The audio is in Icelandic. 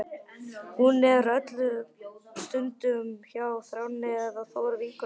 Hún er öllum stundum hjá Þráni eða Þóru vinkonu sinni.